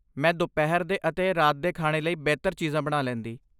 ਮੈਂ ਦੁਪਹਿਰ ਦੇ ਅਤੇ ਰਾਤ ਦੇ ਖਾਣੇ ਲਈ ਬਿਹਤਰ ਚੀਜ਼ਾਂ ਬਣਾ ਲੈਂਦੀ।